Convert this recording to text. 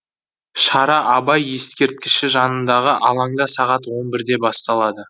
шара абай ескерткіші жанындағы алаңда сағат он бірде басталады